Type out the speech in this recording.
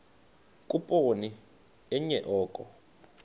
khuphoni enye oko